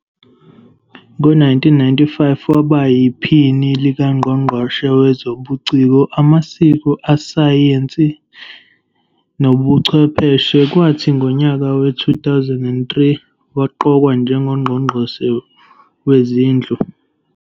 Ngo-1995 waba yiPhini likaNgqongqoshe Wezobuciko, Amasiko, Isayensi Nobuchwepheshe kwathi ngonyaka we-2003, waqokwa njengoNgqongqoshe Wezindlu.